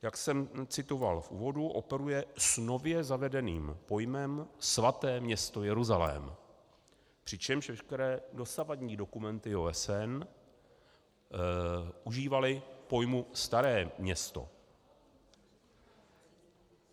Jak jsem citoval v úvodu, operuje s nově zavedeným pojmem svaté město Jeruzalém, přičemž veškeré dosavadní dokumenty OSN užívaly pojmu Staré Město.